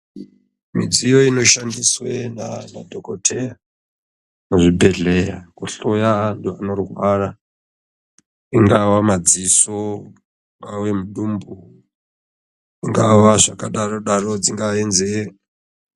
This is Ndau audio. Midziyo inoshandiswe naanadhokodheya, muzvibhedhleya, kuhloya anhu anorwara, ingava madziso, ingava midumbu, ingava zvakadaro daro ,dzingave nzeve.